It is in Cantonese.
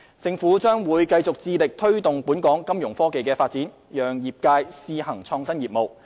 政府將繼續致力推動本港金融科技發展，讓業界試行創新業務。